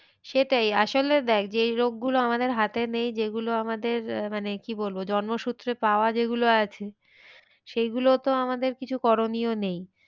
সেটাই আসলে দেখ যে রোগ গুলো আমাদের হাতে নেই। যেগুলো আমাদের মানে কি বলবো জন্ম সূত্রে পাওয়া যেগুলো আছে সেই গুলো তো আমাদের কিছু করণীয় নেই।